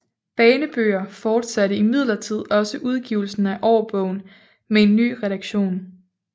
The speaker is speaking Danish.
Banebøger fortsatte imidlertid også udgivelsen af årbogen med en ny redaktion